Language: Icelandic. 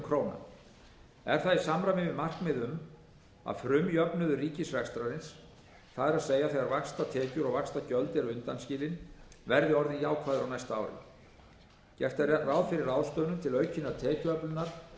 í samræmi við markmið um að frumjöfnuður ríkisrekstrarins það er þegar vaxtatekjur og vaxtagjöld eru undanskilin verði orðinn jákvæður á næsta ári gert er ráð fyrir ráðstöfunum til aukinnar tekjuöflunar